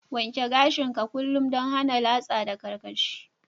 Wanke gashin ka kullum dan hana latsa da kwarkwashi.